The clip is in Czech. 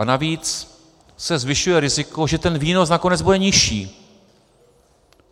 A navíc se zvyšuje riziko, že ten výnos nakonec bude nižší.